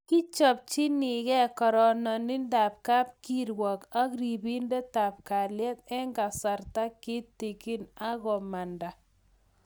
Kichomchikei karanindetab kapkirwok ak ribindetab kalyet eng kasarta kitigin akomanda